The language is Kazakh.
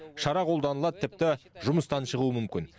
шара қолданылады тіпті жұмыстан шығуы мүмкін